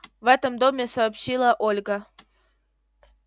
в этом доме сообщила ольга